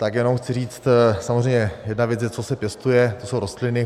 Tak jenom chci říct, samozřejmě jedna věc je, co se pěstuje, to jsou rostliny.